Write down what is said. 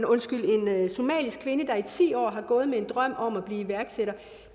somalisk kvinde der i ti år har gået med en drøm om at blive iværksætter